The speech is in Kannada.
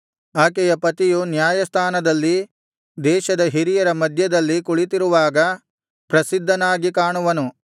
ಆಕೆಯ ಪತಿಯು ನ್ಯಾಯಸ್ಥಾನದಲ್ಲಿ ದೇಶದ ಹಿರಿಯರ ಮಧ್ಯದಲ್ಲಿ ಕುಳಿತಿರುವಾಗ ಪ್ರಸಿದ್ಧನಾಗಿ ಕಾಣುವನು